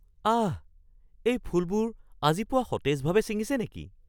আহ! এই ফুলবোৰ আজি পুৱা সতেজভাৱে ছিঙিছে নেকি?